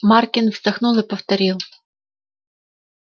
маркин вздохнул и повторил